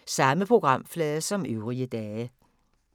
Samme programflade som øvrige dage